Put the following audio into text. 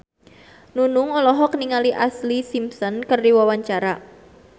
Nunung olohok ningali Ashlee Simpson keur diwawancara